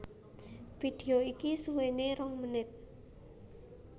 Vidéo iki suwéné rong menit